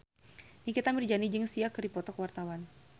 Nikita Mirzani jeung Sia keur dipoto ku wartawan